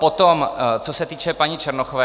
Potom co se týče paní Černochové.